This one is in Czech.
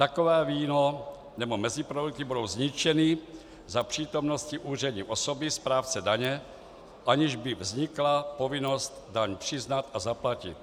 Takové víno nebo meziprodukty budou zničeny za přítomnosti úřední osoby správce daně, aniž by vznikla povinnost daň přiznat a zaplatit.